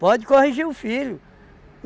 Pode corrigir o filho.